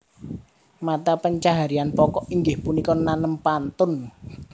Mata pencaharian pokok inggih punika nanem pantun